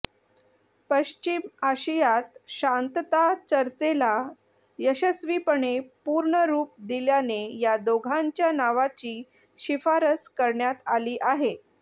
पश्चिम आशियात शांतता चर्चेला यशस्वीपणे पूर्णरुप दिल्याने या दोघांच्या नावाची शिफारस करण्यात आली आहे